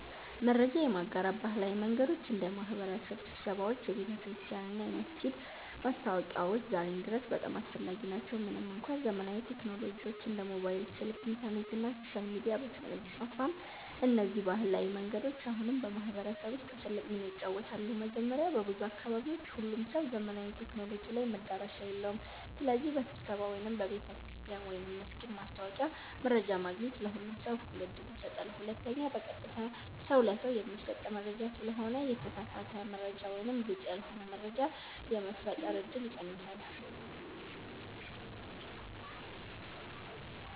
መረጃ የማጋራት ባህላዊ መንገዶች እንደ የማህበረሰብ ስብሰባዎች፣ የቤተክርስቲያን እና የመስጊድ ማስታወቂያዎች ዛሬም ድረስ በጣም አስፈላጊ ናቸው። ምንም እንኳ ዘመናዊ ቴክኖሎጂዎች እንደ ሞባይል ስልክ፣ ኢንተርኔት እና ሶሻል ሚዲያ በፍጥነት ቢስፋፉም፣ እነዚህ ባህላዊ መንገዶች አሁንም በማህበረሰብ ውስጥ ትልቅ ሚና ይጫወታሉ። መጀመሪያ፣ በብዙ አካባቢዎች ሁሉም ሰው ዘመናዊ ቴክኖሎጂ ላይ መዳረሻ የለውም። ስለዚህ በስብሰባ ወይም በቤተ ክርስቲያን/መስጊድ ማስታወቂያ መረጃ ማግኘት ለሁሉም ሰው እኩል ዕድል ይሰጣል። ሁለተኛ፣ በቀጥታ ሰው ለሰው የሚሰጥ መረጃ ስለሆነ የተሳሳተ መረጃ ወይም ግልጽ ያልሆነ መረጃ የመፈጠር እድል ይቀንሳል።